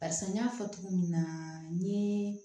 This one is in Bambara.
Barisa n y'a fɔ cogo min na n ye